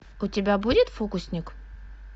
у тебя будет фокусник